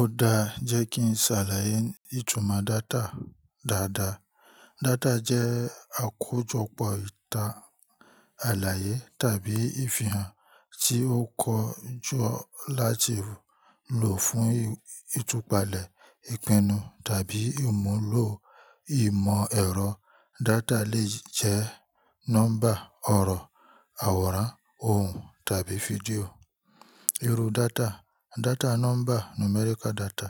Ó dáa jẹ́ kí n ṣàlàyé ìtumọ̀ data dáadáa. Data jẹ́ àkójọpọ̀ ìta àlàyé tàbí ìfihàn tí ó kọjú láti lò fún ìtúpalẹ̀, ìpinnu, tàbí ìmúlò ìmọ̀ ẹ̀rọ. Data lè jẹ́ nọ́mbà, ọ̀rọ̀, àwòrán, ohùn tàbí fídíò. Iru data: Data nọ́mbà, numerical data,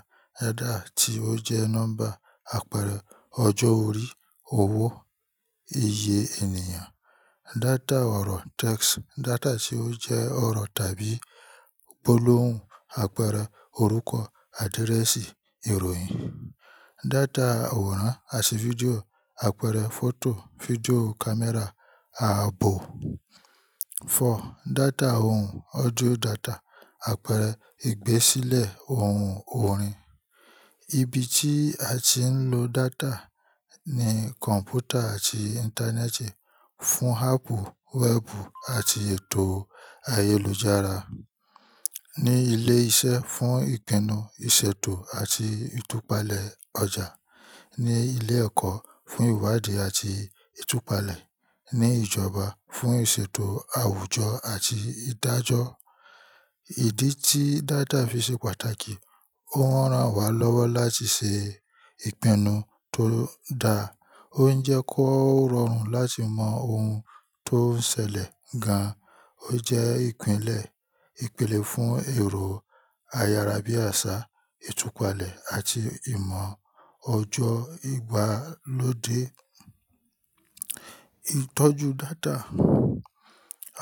ẹ́dà tí ó jẹ́ nọ́mbà. Àpẹẹrẹ ọjọ́ orí, owó, iye ènìyàn. Data ọ̀rọ̀, text, data tí ó jẹ́ ọ̀rọ̀ tàbí gbólóhùn. Àpẹẹrẹ orúkọ, àdírẹ́ẹ̀sì, ìròyìn. Data àwòrán, aṣe fídíò. Àpẹẹrẹ fọ́tò, fídíò, kámẹ́rà, ààbò. Data ohùn, audio data. Àpẹẹrẹ ìgbésílẹ̀ ohùn, orin. Ibi tí a tí ń lo data ni kọ̀m̀pútà àti Íńtánẹ́ẹ̀tì fún áàpù wẹ́ẹ̀bù àti ètò ayélujára. Ni ilé iṣẹ́ fún ìpinnu, ìṣètò àti ìtúpalẹ̀ ọjà. Ni ilé ẹ̀kọ́ fún ìwádìí àti ìtúpalẹ̀. Ni ìjọba fún ìṣètò àwùjọ àti ìdájọ́. Ìdí tí data fi ṣe pàtàkì, ó rán wa lọ́wọ́ láti ṣe ìpinnu tó dáa. Ó ń jẹ́ kó rọrùn láti mọ ohun tó ń ṣẹlẹ̀ gan. Ó jẹ́ ìpìlẹ̀ ìpìlẹ̀ fún èrò ayárábiàsà, ìtúpalẹ̀ àti ìmọ̀ ọjọ́ ìgbàlódé.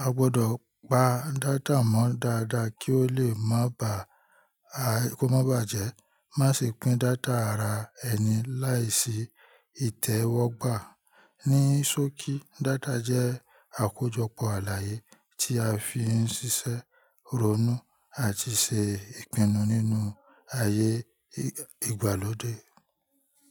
A gbọdọ̀ pa data mọ́ dáadáa kí ó lè má bà à-- kó má bàjẹ́. Má ṣe pín data ara ẹni láìsí ìtẹ́wọ́gbà. Ní sókí, data jẹ́ àkójọpọ̀ àlàyé tí a fi ń ṣiṣẹ́, ronú àti ṣe ìpinnu nínú ayé ìgbàlódé.